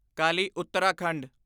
Kali Uttarakhand